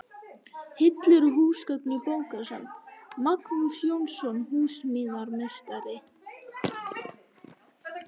Hillur og húsgögn í bókasafn: Magnús Jónsson, húsasmíðameistari.